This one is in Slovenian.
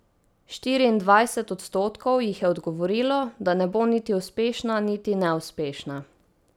Štiriindvajset odstotkov jih je odgovorilo, da ne bo niti uspešna niti neuspešna.